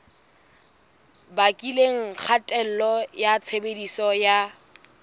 bakileng kgatello ya tshebediso ya